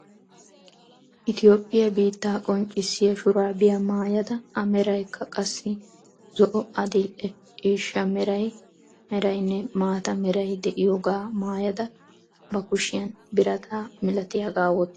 Itoophphiyaa biittaa qonccissiya shuraabiyaa maayada a meraykka qassi zo"o adil"e ciishsha meraynne maata meray de'iyoogaa maayada ba kuushshiyaan birataa malatiyaagaa woottada eqqaasu.